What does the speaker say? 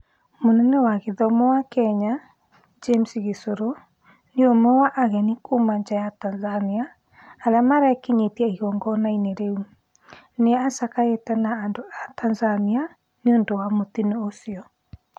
Mũnene wa gĩthomo wa Kenya, James Gishuru, nĩ ũmwe wa ageni kuma nja wa Tanzania arĩa marekinyĩtie igongona-inĩ rĩu, na nĩacakaĩte na andũ a Tanzania niũndũ wa mũtino ũcio